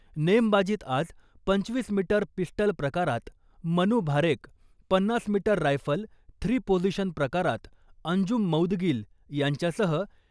नेमबाजीत आज पंचवीस metre pistol प्रकारात मनू भारेक, पन्नास मीटर रायफल थ्री पोजिशन प्रकारात अंजुम मौदगील यांच्यासह